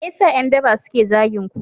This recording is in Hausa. Me yasa yan daba suke zagin ku